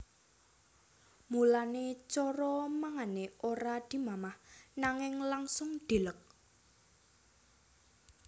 Mulané cara mangané ora dimamah nanging langsung dileg